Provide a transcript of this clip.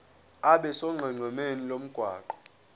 abe sonqenqemeni lomgwaqo